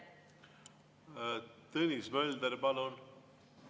Tõnis Mölder, palun!